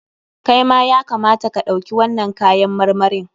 Kai ma ya kamata ka ɗauki wannan kayan marmarin.